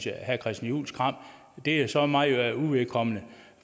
i herre christian juhls kram er så mig uvedkommende